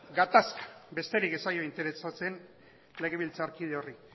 gatazka besterik ez zaio interesatzen legebiltzarkide horri